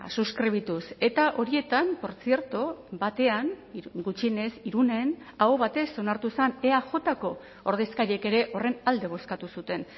suskribituz eta horietan portzierto batean gutxienez irunen aho batez onartu zen eajko ordezkariek ere horren alde bozkatu zuten